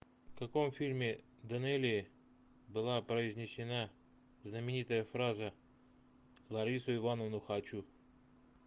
в каком фильме данелия была произнесена знаменитая фраза ларису ивановну хочу